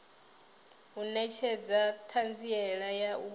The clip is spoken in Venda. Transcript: u netshedza thanziela ya u